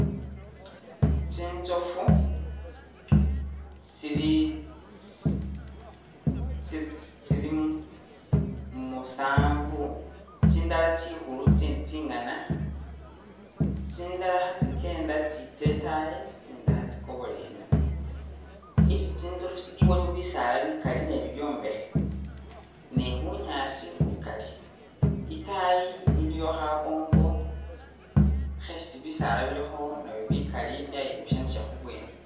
Tsitsoofu tsili tsi...tse tsili musaanvu, tsindala tsikhulu tsitsindi tsi'ngana, tsindala khatsi'kenda tsitse e'taayi i'tsindi khatsikobole eno, isi tsitsoofu tsili waliwo bisaala bikali ne bibyombekhe ne bunyaasi bukali, i'taayi iliyo khakongo khesi bisaala nabyo bilikho bikali nabyo byayi busanisa khubwene